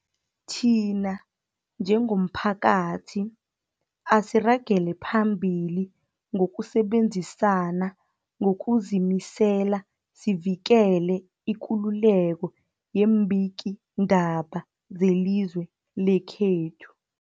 Thina njengomphakathi, asiragele phambili ngokusebenzisana ngokuzimisela sivikele ikululeko yeembikiindaba zelizwe lekhethu.